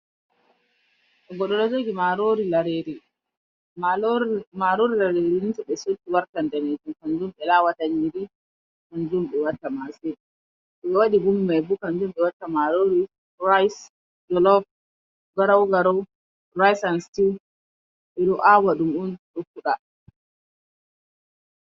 Goɗɗo ɗo jogi marori lareri. Marori larire ni to be sotti wartan nɗanijum. Kan jumb be lawata nyiri, kanjum on be watta mase. To be waɗi gumi mai bo kan jum be watta marori ra'is, jolop, garau-garau ra'is an situa. Beɗo aawa ɗum on fuɗa.